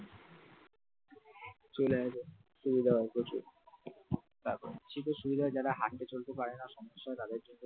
চলে আয় সুবিধা হবে প্রচুর চির সুবিধার হয় যারা হাঁটতে চলতে পারে না সমস্যা হয় তাদের জন্য